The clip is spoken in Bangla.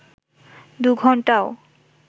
দু ঘন্টাও